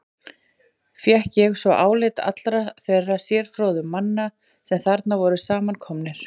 Fékk ég svo álit allra þeirra sérfróðu manna, sem þarna voru samankomnir.